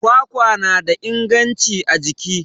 kwakwa na da inganci a jiki